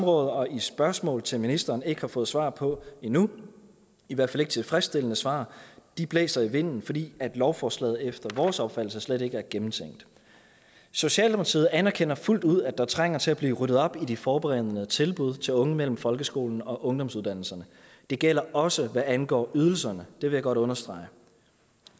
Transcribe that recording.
og i spørgsmål til ministeren ikke har fået svar på endnu i hvert fald ikke tilfredsstillende svar de blæser i vinden fordi lovforslaget efter vores opfattelse slet ikke er gennemtænkt socialdemokratiet anerkender fuldt ud at der trænger til at blive ryddet op i de forberedende tilbud til unge mellem folkeskolen og ungdomsuddannelserne det gælder også hvad angår ydelserne vil jeg godt understrege